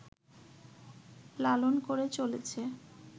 লালন করে চলেছে